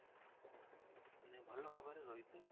ମାନେ ଭଲ ଭାବରେ ରହି ଥିଲେ